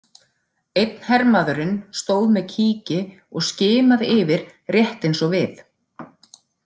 Einn hermaðurinn stóð með kíki og skimaði yfir rétt eins og við.